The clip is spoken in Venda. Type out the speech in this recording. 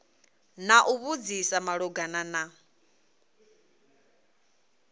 na u vhudzisa malugana na